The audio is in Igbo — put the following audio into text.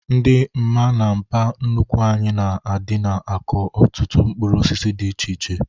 Ndị mma na mpa nnukwu anyị na-adịna akọ ọtụtụ mkpụrụ osisi dị iche iche